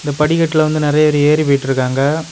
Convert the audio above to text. படிக்கட்டுல வந்து நிறைய பேர் ஏறி போயிருக்காங்க.